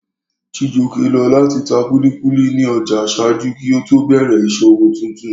Chijioke lọ láti ta kúlíkúlí ní ọjà ṣáájú kí ó tó bẹ̀rẹ̀ ìṣòwò tuntun